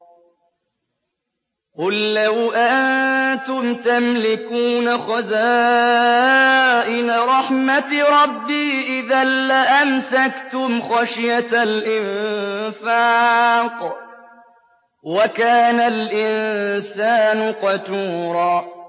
قُل لَّوْ أَنتُمْ تَمْلِكُونَ خَزَائِنَ رَحْمَةِ رَبِّي إِذًا لَّأَمْسَكْتُمْ خَشْيَةَ الْإِنفَاقِ ۚ وَكَانَ الْإِنسَانُ قَتُورًا